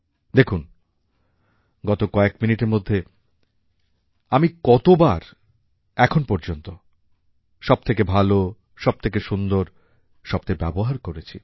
দেখুন গত কয়েক মিনিটের মধ্যে আমি কতবার এখন পর্যন্ত সব থেকে ভালো সব থেকে সুন্দর শব্দের ব্যবহার করেছি